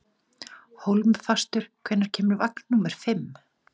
Hólmfastur, hvenær kemur vagn númer fimm?